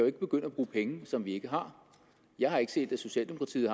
ikke begynde at bruge penge som vi ikke har jeg har ikke set at socialdemokratiet